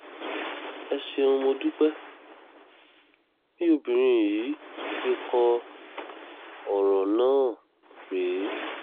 ẹ ṣeun mọ̀ dúpẹ́ bí obìnrin yìí ṣe kọ ọ̀rọ̀ náà rèé